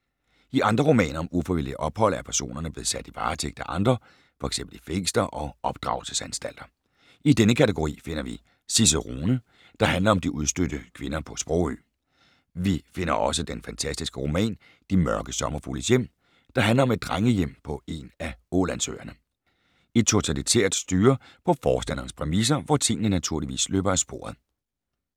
I andre romaner om ufrivillige ophold er personerne blevet sat i varetægt af andre, f.eks. i fængsler og opdragelsesanstalter. I denne kategori finder vi Cicerone, der handler om de udstødte kvinder på Sprogø. Vi finder også den fantastiske roman De mørke sommerfugles hjem, der handler om et drengehjem på en af Ålandsøerne. Et totalitært styre på forstanderens præmisser, hvor tingene naturligvis løber af sporet.